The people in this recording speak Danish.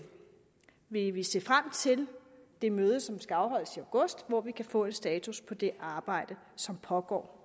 vil vi se frem til det møde som skal afholdes til august hvor vi kan få en status på det arbejde som pågår